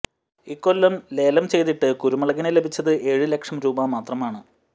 ഇക്കൊല്ലം ലേലം ചെയ്തിട്ട് കുരുമുളകിന് ലഭിച്ചത് ഏഴ് ലക്ഷം രൂപ മാത്രമാണ്